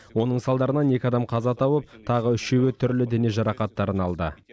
оның салдарынан екі адам қаза тауып тағы үшеуі түрлі дене жарақаттарын алды